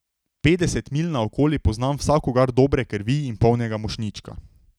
Petdeset milj naokoli poznam vsakogar dobre krvi in polnega mošnjička.